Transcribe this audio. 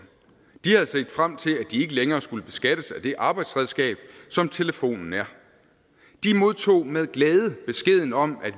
de havde set frem til at de ikke længere skulle beskattes af det arbejdsredskab som telefonen er de modtog med glæde beskeden om at